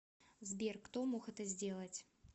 сбер кто мог это сделать